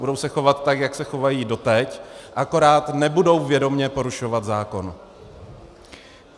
Budou se chovat tak, jako se chovali doteď, akorát nebudou vědomě porušovat zákon.